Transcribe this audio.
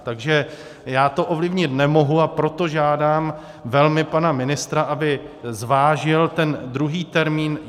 Takže já to ovlivnit nemohu, a proto žádám velmi pana ministra, aby zvážil ten druhý termín.